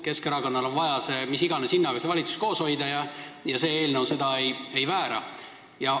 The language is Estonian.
Keskerakonnal on vaja mis iganes hinnaga see valitsus koos hoida ja see eelnõu seda ei väära.